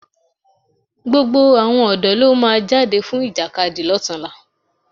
Gbogbo àwọn ọ̀dọ́ ló máa jáde fún Ìjàkadì lọ́tunla